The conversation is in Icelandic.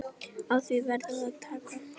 Á því verður að taka.